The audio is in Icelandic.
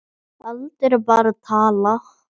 Aldur er bara tala.